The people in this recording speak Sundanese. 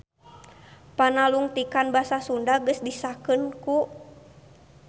Panalungtikan Basa Sunda geus disahkeun ku